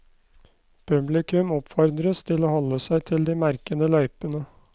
Publikum oppfordres til å holde seg til de merkede løypene.